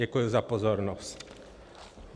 Děkuji za pozornost.